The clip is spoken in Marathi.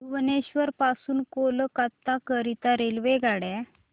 भुवनेश्वर पासून कोलकाता करीता रेल्वेगाड्या